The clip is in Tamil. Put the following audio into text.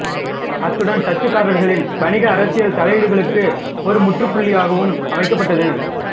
அத்துடன் டச்சுக்காரர்காரர்களின் வணிக அரசியல் தலையீடுகளுக்கு ஒரு முற்றுப் புள்ளியும் வைக்கப்பட்டது